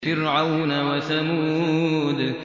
فِرْعَوْنَ وَثَمُودَ